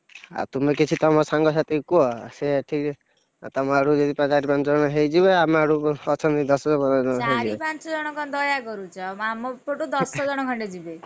ଆଉ ତୁମେ କିଛି ତମ ସାଙ୍ଗସାଥୀଙ୍କୁ କୁହ ସେ ଏଠିକି, ଅ ତମ ଆଡୁ ଯଦି ଚାରି ପଞ୍ଚଜଣ ହେଇଯିବେ ଆମ ଆଡୁ ଅଛନ୍ତି ଦଶ ଅ ଚାରି ପାଞ୍ଚଜଣ କଣ ଦୟା କରୁଛ ଆମ ପଟୁ ଦଶ ଜଣ ଖଣ୍ଡେ ଯିବେ।